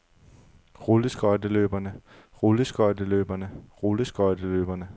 rulleskøjteløberne rulleskøjteløberne rulleskøjteløberne